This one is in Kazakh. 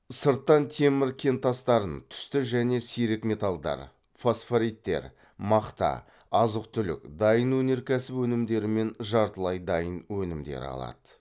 сырттан темір кентастарын түсті және сирек металдар фосфориттер мақта азық түлік дайын өнеркәсіп өнімдері мен жартылай дайын өнімдер алады